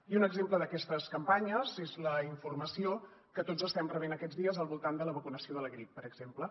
i un exemple d’aquestes campanyes és la informació que tots estem rebent aquests dies al voltant de la vacunació de la grip per exemple